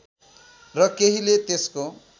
र केहीले त्यसको